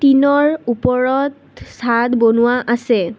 টিনৰ ওপৰত চাদ বনোৱা আছে।